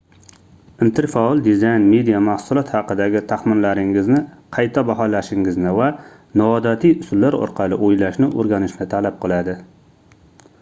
interfaol dizayn media mahsulot haqidagi taxminlaringizni qayta baholashingizni va noodatiy usullar orqali oʻylashni oʻrganishni talab qiladi